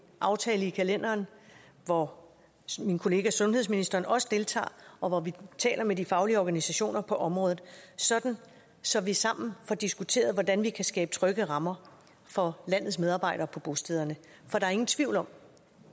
aftale i kalenderen hvor min kollega sundhedsministeren også deltager og hvor vi taler med de faglige organisationer på området så så vi sammen får diskuteret hvordan vi kan skabe trygge rammer for landets medarbejdere på bostederne for der er ingen tvivl om